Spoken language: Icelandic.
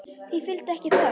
Því fylgdi ekki þögn.